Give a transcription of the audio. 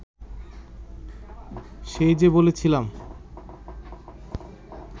সেই যে বলেছিলাম